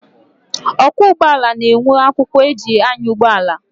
Ọkwọ ụgbọala na-enwe akwụkwọ eji anya ụgbọala.